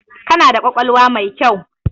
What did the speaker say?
Kana da ƙwaƙwalwa mai kyau.